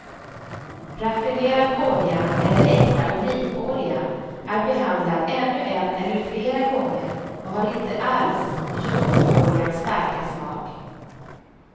Raffinerad olja eller äkta olivolja är behandlad ännu en eller flera gånger och har inte alls jungfruoljans starka smak.